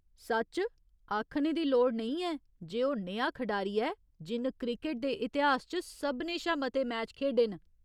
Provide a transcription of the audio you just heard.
सच्च। आखने दी लोड़ नेईं ऐ जे ओह् नेहा खढारी ऐ जिन्न क्रिकट दे इतिहास च सभनें शा मते मैच खेढे न।